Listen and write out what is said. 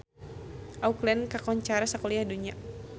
Auckland kakoncara sakuliah dunya